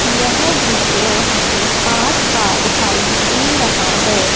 यह दृश्य हमें पाठ का दिखाई दे रहा हैं।